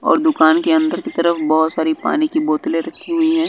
और दुकान के अंदर की तरफ बहुत सारी पानी की बोतले रखी हुई हैं।